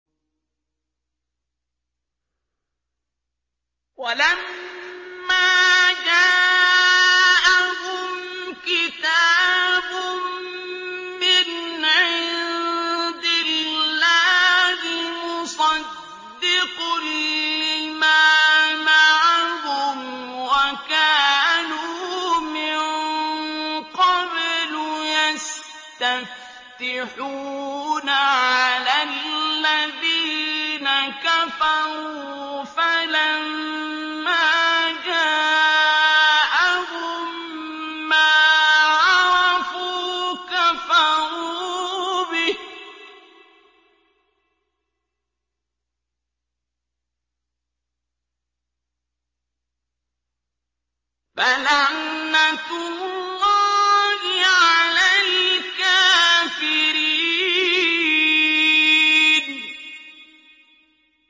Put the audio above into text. وَلَمَّا جَاءَهُمْ كِتَابٌ مِّنْ عِندِ اللَّهِ مُصَدِّقٌ لِّمَا مَعَهُمْ وَكَانُوا مِن قَبْلُ يَسْتَفْتِحُونَ عَلَى الَّذِينَ كَفَرُوا فَلَمَّا جَاءَهُم مَّا عَرَفُوا كَفَرُوا بِهِ ۚ فَلَعْنَةُ اللَّهِ عَلَى الْكَافِرِينَ